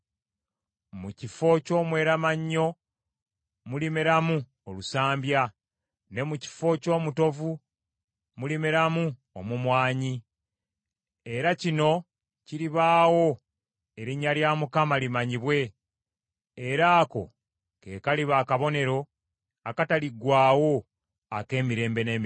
Mu kifo ky’omweramannyo mulimeramu olusambya, ne mu kifo ky’omutovu mulimeramu omumwanyi. Era kino kiribaawo erinnya lya Mukama limanyibwe era ako ke kaliba akabonero akataliggwaawo ak’emirembe n’emirembe.”